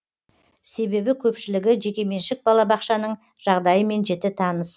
себебі көпшілігі жекеменшік балабақшаның жағдайымен жіті таныс